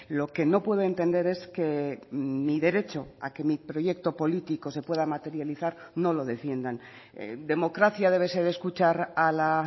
lo que no puedo entender es que mi derecho a que mi proyecto político se pueda materializar no lo defiendan democracia debe ser escuchar a la